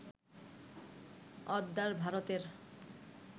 অদ্যার, ভারতের